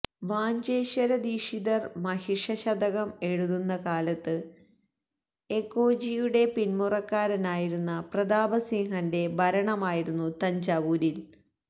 വാഞ്ചേശ്വരദീക്ഷിതർ മഹിഷശതകം എഴുതുന്ന കാലത്ത് എകോജിയുടെ പിന്മുറക്കാരനായിരുന്ന പ്രതാപസിംഹന്റെ ഭരണമായിരുന്നു തഞ്ചാവൂരിൽ